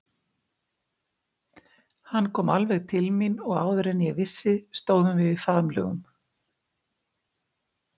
Hann kom alveg til mín og áður en ég vissi stóðum við í faðmlögum.